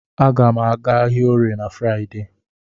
A ga m aga ahịa Orie na Fraịdee.